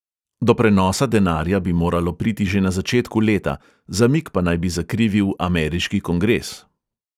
Do prenosa denarja bi moralo priti že na začetku leta, zamik pa naj bi zakrivil ameriški kongres.